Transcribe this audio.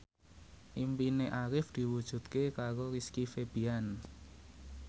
impine Arif diwujudke karo Rizky Febian